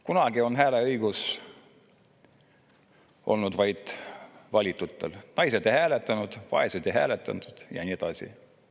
Kunagi oli hääleõigus vaid valitutel: naised ei hääletanud, vaesed ei hääletanud ja nii edasi.